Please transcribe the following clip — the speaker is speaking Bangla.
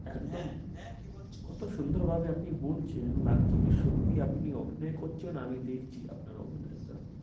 একদম কি বলছো? কত সুন্দর ভাবনি বলছেন লাগছে কি আপনি অভিনয় করছেন আমি দেখছি আপনার অভিনয়টা